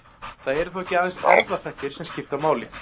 Það eru þó ekki aðeins erfðaþættir sem skipta máli.